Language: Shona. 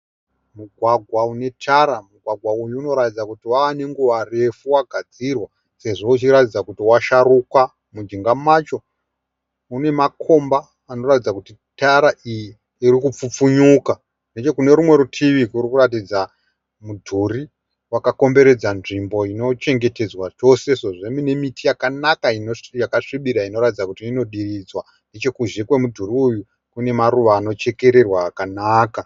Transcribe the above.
Mugwagwa unetara. Mugwagwa uyu unoratidza kuti wava nenguva refu wagadzirwa sezvo ichiratidza kuti washaruka. Mujinga macho mune makomba anoratidza kuti tara iyi iri kupfupfunyuka. Nechekune rumwe rutivi kuri kuratidza mudhuri wakakomberedza nzvimbo inochengetedzwa chose sezvo mune miti yakanaka yakasvibira inoratidza kuti inodiridzwa. Nechekuzhe kwemudhuri uyu kune maruva anochekererwa akanaka.